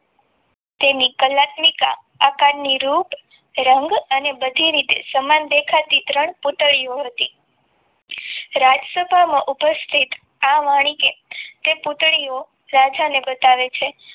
તેની કલાનીક આકારની રૂપ રંગ અને બધી રીતે સમાન દેખાતી ત્રણ પૂતળીઓ હતી રાજસભામાં ઉપસ્થિત આ વાણી કે તે પૂતળીઓ રાજાને બતાવે છે.